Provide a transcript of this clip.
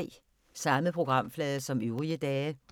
Samme programflade som øvrige dage